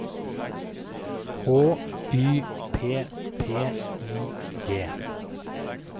H Y P P I G